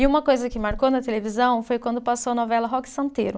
E uma coisa que marcou na televisão foi quando passou a novela Roque Santeiro.